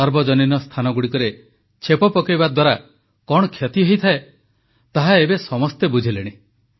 ସାର୍ବଜନୀନ ସ୍ଥାନଗୁଡ଼ିକରେ ଛେପ ପକାଇବା ଦ୍ୱାରା କଣ କ୍ଷତି ହୋଇଥାଏ ତାହା ଏବେ ସମସ୍ତେ ବୁଝିଲେଣି